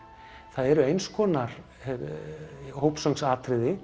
það eru eins konar